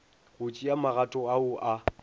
go tšea magato ao a